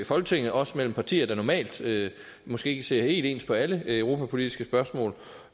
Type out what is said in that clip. folketinget også mellem partier der normalt måske ikke ser helt ens på alle europapolitiske spørgsmål